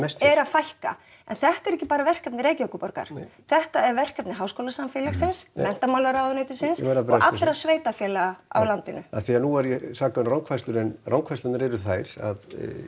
er að fækka en þetta er ekki bara verkefni Reykjavíkurborgar nei þetta er verkefni háskólasamfélagsins menntamálaráðuneytisins ég verð og allra sveitafélaga á landinu af því nú er ég sakaður um rangfærslur en rangfærslurnar eru þær að